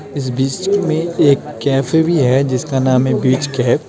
इस बिच मे एक कैफ़े भी हे जिसका नाम हे बिच कैफ ।